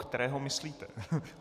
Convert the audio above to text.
Kterého myslíte?